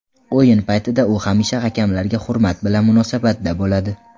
O‘yin paytida u hamisha hakamlarga hurmat bilan munosabatda bo‘ladi.